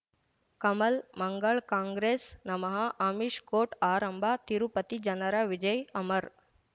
ಕಮಲ್ ಮಂಗಳ್ ಕಾಂಗ್ರೆಸ್ ನಮಃ ಅಮಿಷ್ ಕೋರ್ಟ್ ಆರಂಭ ತಿರುಪತಿ ಜನರ ವಿಜಯ್ ಅಮರ್